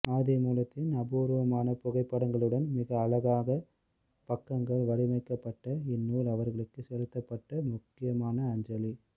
ஆதிமூலத்தின் அபூர்வமான புகைப்படங்களுடன் மிக அழகாக பக்கங்கள் வடிவமைக்கப்பட்ட இந்நூல் அவருக்குச் செலுத்தப்பட்ட முக்கியமனா அஞ்சலி